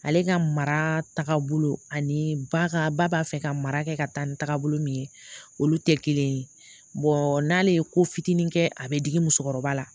Ale ka mara taga bolo ani ba ka ba b'a fɛ ka mara kɛ ka taa ni tagabolo min ye olu tɛ kelen ye n'ale ye ko fitini kɛ a bɛ digi musokɔrɔba la